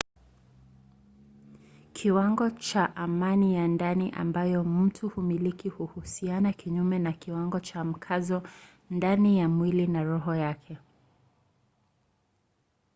kiwango cha amani ya ndani ambayo mtu humiliki huhusiana kinyume na kiwango cha mkazo ndani ya mwili na roho yake